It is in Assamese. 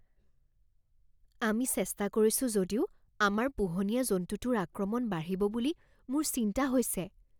আমি চেষ্টা কৰিছো যদিও আমাৰ পোহনীয়া জন্তুটোৰ আক্ৰমণ বাঢ়িব বুলি মোৰ চিন্তা হৈছে।